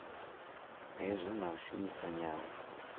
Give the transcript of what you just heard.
hazwo na u shumisa nyambo